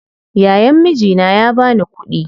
Yayan mijina ya bani kuɗi